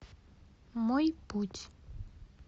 мой путь